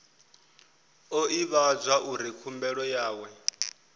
o ivhadzwa uri khumbelo yawe